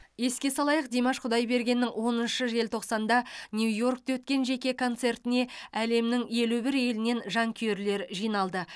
еске салайық димаш құдайбергеннің оныншы желтоқсанда нью йоркте өткен жеке концертіне әлемнің елу бір елінен жанкүйерлер жиналды